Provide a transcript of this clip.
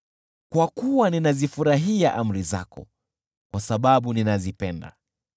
kwa kuwa ninazifurahia amri zako kwa sababu ninazipenda.